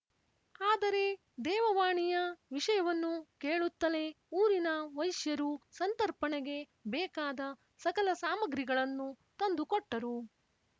ಆದರೆ ದೇವವಾಣಿಯ ವಿಷಯವನ್ನು ಕೇಳುತ್ತಲೇ ಊರಿನ ವೈಶ್ಯರು ಸಂತರ್ಪಣೆಗೆ ಬೇಕಾದ ಸಕಲ ಸಾಮಗ್ರಿಗಳನ್ನೂ ತಂದುಕೊಟ್ಟರು